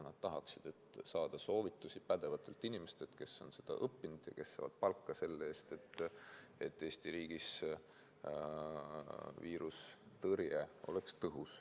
Nad tahaksid saada soovitusi pädevatelt inimestelt, kes on seda õppinud ja kes saavad palka selle eest, et Eesti riigis oleks tõhus viirusetõrje.